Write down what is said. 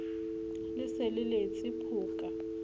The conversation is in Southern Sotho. le se le letse phoka